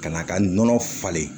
Ka n'a ka nɔnɔ falen